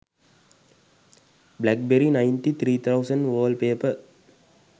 blackberry 9300 wallpaper